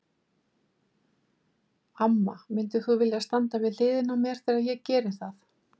Amma, myndir þú vilja standa við hliðina á mér þegar ég geri það?